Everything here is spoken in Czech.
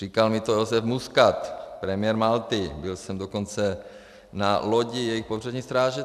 Říkal mi to Joseph Muscat, premiér Malty, byl jsem dokonce na lodi jejich pobřežní stráže.